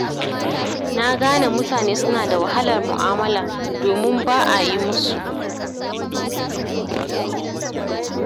Na gane mutane suna da wahalar mu'amala, domin ba a yi musu.